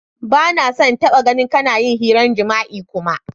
Ba na so n'taba gan kana yin hiran jima'i kuma!